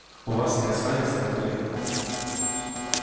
у вас не останется документа